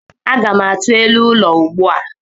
Aga m atụ elu ụlọ ugbu a.